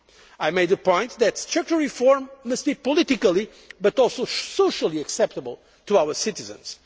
States. I made a point that structural reform must be politically, but also socially acceptable to our citizens.